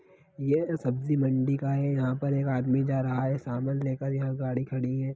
ये सब्जी मंडी का है यहाँ पर एक आदमी जा रहा है सामान लेकर यहाँ गाड़ी खड़ी है।